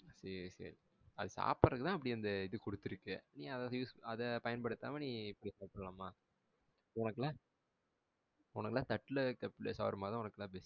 சேரி சேரி அது சாப்டுறதுக்குதான் அப்டி அந்த இது குடுத்துருக்கு. நீ அத use நீ அத பயன்படுத்தாம நீ இப்டி சாப்டலாமா? உனக்கு எல்லாம் உனக்கு எல்லாம் தட்டுல இருக்குற shawarma உனக்கு எல்லாம் best easy.